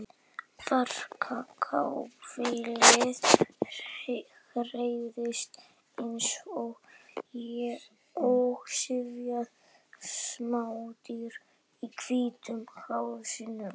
Lítið barkakýlið hreyfist eins og syfjað smádýr í hvítum hálsinum.